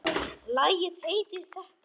Lagið heitir þetta.